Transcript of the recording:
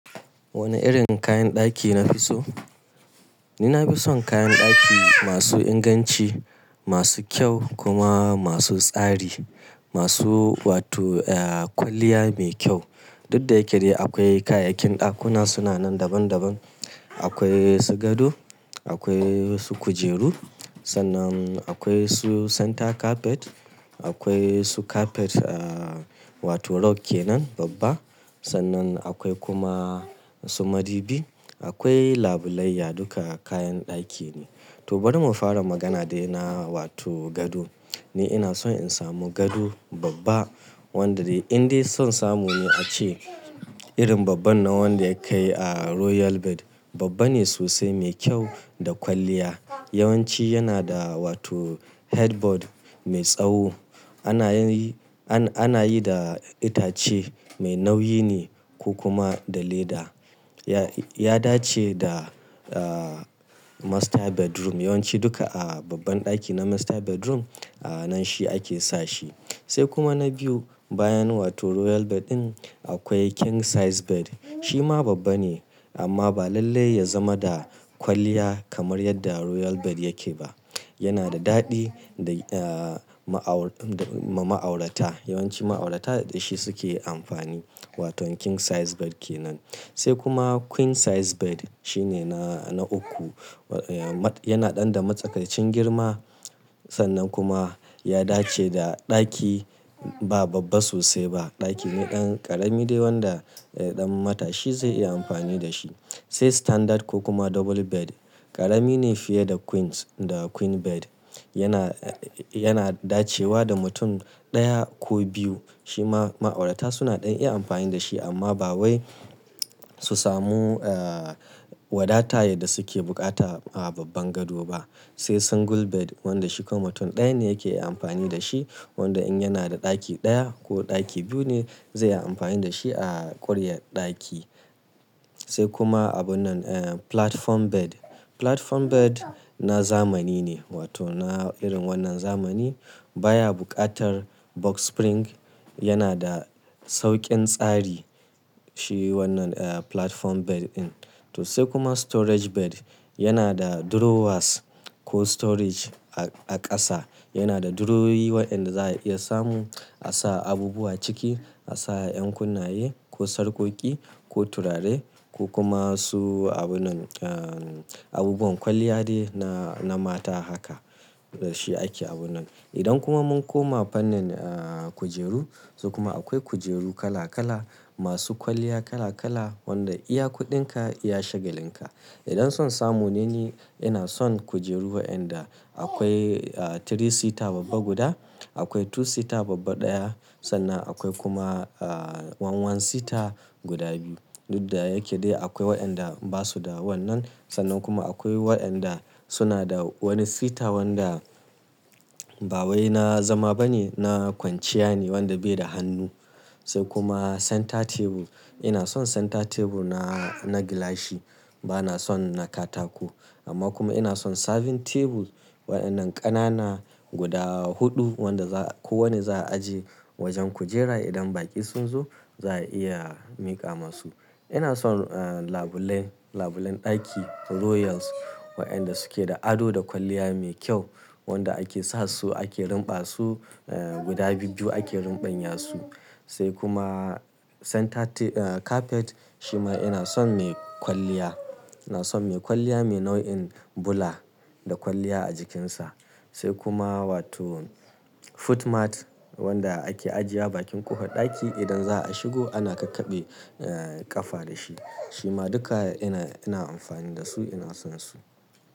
Wane irin kayan ɗaki na fi so? Ni na fi son kayan ɗaki masu inganci, masu kyau kuma masu tsari, masu wato, eh, kwalliya mai kyau. Duk da yake dai akwai kayayyakin ɗakuna suna nan daban daban. Akwai su gado, akwai su kujeru, sannan akwai su center carpet, akwai su carpet, ah, wato rock kenan babba, sannan akwai kuma su madubi, akwai labulayya duka kayan ɗaki ne. To bari mu fara magana dai yana wato gado. Ni ina son in samu gado babba wanda dai in dai son samu ne a ce irin babban na wanda yakai a Royal Bed. Babba ne sosai mai kyau da kwalliya. Yawanci yana da wato headboard mai tsawo. Ana yi, an-ana yi da itace mai nauyi ne ko kuma da leda. Ya dace da, ah, master bedroom. Yawanci duka a babban ɗaki na master bedroom a nan shi ake sa shi. Sai kuma na biyu bayan wato Royal Bed ɗin akwai King Size Bed. Shi ma babba ne amma ba lallai ya zama da kwalliya kamar yadda Royal Bed yake ba. Yana da daɗi da, ah, ma'aur-- ma'aurata. Yawanci ma'aurata daɗashi suke amfani wato King Size Bed kenan. Sai kuma Queen Size Bed shine na, na uku. Yana ɗan da matsakancin girma sannan kuma ya dace da ɗaki ba babba sosai ba. Ɗaki ne ɗan ƙarami dai wanda, eh, ɗan mata shi zai iya amfani da shi. Sai Standard ko kuma Double Bed ƙarami ne fiye da Queens da Queen Bed. Yana, yana dacewa da mutum ɗaya ko biyu. Shi ma ma'aurata suna ɗan iya amfani da shi amma ba wai su samu, ah, wadata yadda suke bukata a babban gado ba. Sai Single Bed wanda shi kuma mutum ɗaya ne yake amfani da shi wanda in yana da ɗaki ɗaya ko ɗaki biyu ne zai yi amfani da shi a ƙuryar ɗaki. Sai kuma abun nan, eh, Platform Bed. Platform Bed na zamani ne wato na irin wannan zamani. Ba ya buƙatar box spring yana da sauƙin tsari shi wannan, eh, Platform Bed ɗin. To sai kuma Storage Bed yana da drawers ko storage a ƙasa. Yana da drawer yi waɗanda za a iya samu a sa abubuwa ciki, a sa ƴan kunna ye ko sarƙoƙi ko turare ko kuma su abunnan, ah, abubuwan kwalliya ne na, na mata haka. Da shi ake abun nan. Idan kuma mun koma fannin, ah, kujeru, to kuma akwai kujeru kala kala masu kwalliya kala kala wanda iya kuɗinka iya shagalin ka. Idan son samu ne ni ina son kujeru waɗanda akwai, ah, three seater babba guda, akwai two seater babba ɗaya, sannan akwai kuma, ah, goma sha ɗaya seater guda biyu. Duk da yake dai akwai waɗanda ba su da wannan sannan kuma akwai waɗanda suna da wani seater wanda ba wai na zama bane na kwanciya ne wanda bai da hannu. Sai kuma center table. Ina son center table na, na gilashi. Ba na son na katako. Amma kuma ina son serving table waɗannan ƙanana guda huɗu wanda za-- kowanne za a ajiye wajen kujera idan baƙi sun zo za a iya miƙa masu. Ina son, ah, labulen, labulen ɗaki royals waɗanda suke da ado da kwalliya mai kyau wanda ake sa su ake rinɓa su, eh, guda biyu ake rinɓanya su. Sai kuma center ta-- eh, carpet shi ma ina son mai kwalliya. Ina son mai kwalliya mai nau'in bula da kwalliya a jikinsa. Sai kuma wato foot mat wanda ake ajiye bakin kofar ɗaki idan za a shigo ana kakkaɓe, eh, ƙafa da shi. Shi ma duka ina, ina amfani da su ina son su.